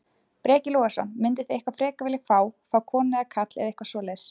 Breki Logason: Mynduð þið eitthvað frekar vilja fá, fá konu eða karl eða eitthvað svoleiðis?